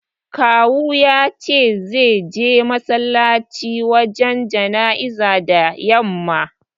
Kawu ya ce zai je masallaci wajen jana'izar da yamma.